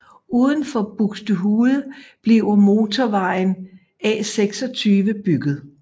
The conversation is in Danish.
Uden for Buxtehude bliver motorvejen A26 bygget